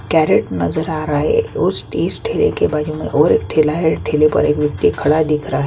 carrot नजर आ रहा है उस इस ठेले के बाजू में और एक ठेला है ठेला पर एक व्यक्ति खड़ा हुआ दिख रहा --